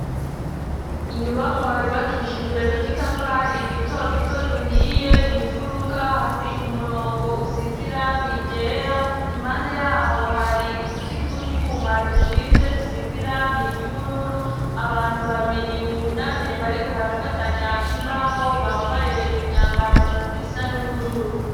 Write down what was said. Inyubakwa yubakishijwe n'udutafari dutoduto duhiye mw'ifuruka hari umurongo usize irangi ryera impanda yaho hari uduti tw'utwuma dushinze dusize irangi ry'ubururu abantu babiri bunamye bariko barafatanya imbaho bambaye imyambaro isa n'ubururu.